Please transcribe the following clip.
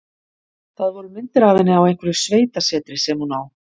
Það voru myndir af henni á einhverju sveitasetri sem hún á.